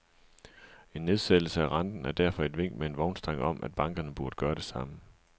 En nedsættelse af renten er derfor et vink med en vognstang om, at bankerne burde gøre det samme.